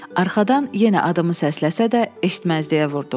Arxadan yenə adımı səsləsə də eşitməzliyə vurdum.